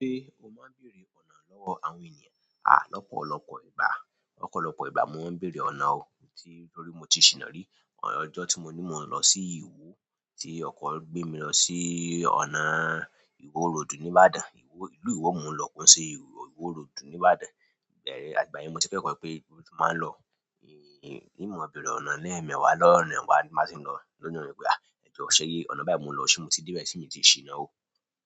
Ṣé o máa ń bèèrè ọ̀nà lọ́wọ́ àwọn ènìyàn? Àh, lọ́pọ̀lọpọ̀ ìgbà, ọ̀pọ̀lọpọ̀ ìgbà mo ń bèèrè ọ̀nà. Torí mo ti ṣìná rí. Ọjọ́ tí mo ní mo ń lọ sí ìlú Íwó tí ọkọ gbé mi lọ sí ọ̀nà Íwó Road ní Ìbàdàn. Ìlú Íwó mo ń lọ ko se Íwó Road ní Ìbàdàn. Àti ìgbà yen mo ti kẹ́kọ̀ọ́ pé gbogbo ibi ti báa ń lọ. In mo béèrè ọ̀nà ni emeẹ́wá lọ́wọ́ àwọn ènìyàn má sì lọ lọ́nà nipe. Ẹ jọ o ṣé ọ̀nà báyìí mo lọ ṣé mo ti dé be se mi ti ṣìná ò.